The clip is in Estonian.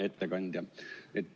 Hea ettekandja!